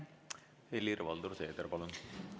Helir-Valdor Seeder, palun!